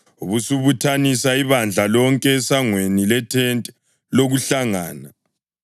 ubusubuthanisa ibandla lonke esangweni lethente lokuhlangana.”